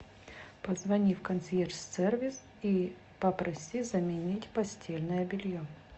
позвони в консьерж сервис и попроси заменить постельное белье